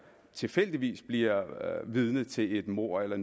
tilfældigvis bliver vidne til et mord eller